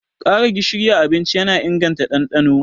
Ƙara gishiri a abinci yana inganta ɗanɗano.